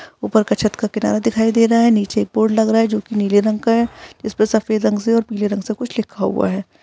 ऊपर का छत का किनारा दिख रहा है नीचे एक बोर्ड लग रहा है जो कि नीले रंग का है इसमें सफेद रंग से और पीले रंग से कुछ लिख हुआ है।